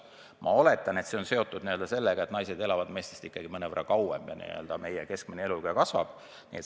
Ma oletan, et see on seotud sellega, et naised elavad meestest ikkagi mõnevõrra kauem ja rahva keskmine eluiga kasvab.